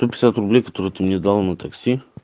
сто пятьдесят рублей которые ты мне дал на такси